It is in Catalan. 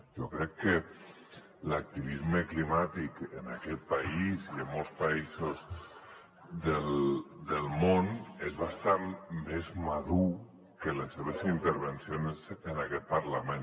jo crec que l’activisme climàtic en aquest país i en molts països del món és bastant més madur que les seves intervencions en aquest parlament